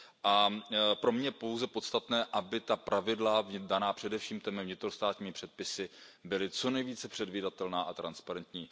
A pro mě je pouze podstatné, aby ta pravidla daná především těmi vnitrostátními předpisy byla co nejvíce předvídatelná a transparentní.